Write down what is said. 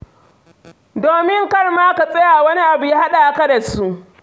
Domin kar ma ka tsaya wani abu ya haɗa ka da su.